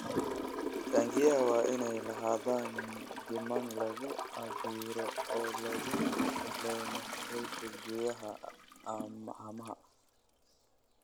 Taangiyada waa inay lahaadaan nidaam lagu cabbiro oo lagu xakameeyo heerkulka gudaha haamaha.